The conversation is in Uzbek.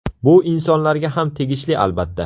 Bu insonlarga ham tegishli albatta.